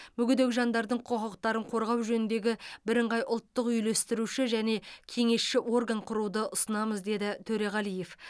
мүгедек жандардың құқықтарын қорғау жөніндегі бірыңғай ұлттық үйлестіруші және кеңесші орган құруды ұсынамыз деді төреғалиев